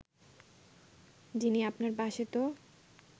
যিনি আপনার পাশে তো